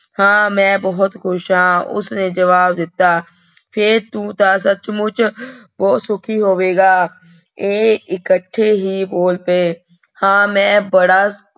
ਹਾਂ ਮੈਂ ਬਹੁਤ ਖ਼ੁਸ਼ ਹਾਂ ਉਸਨੇ ਜਵਾਬ ਦਿੱਤਾ, ਫਿਰ ਤੂੰ ਤਾਂ ਸੱਚਮੁੱਚ ਬਹੁਤ ਸੁਖੀ ਹੋਵੇਂਗਾ, ਇਹ ਇਕੱਠੇ ਹੀ ਬੋਲ ਪਏ, ਹਾਂ ਮੈਂ ਬੜਾ